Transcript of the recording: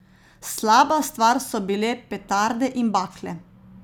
Slaba stvar so bile petarde in bakle.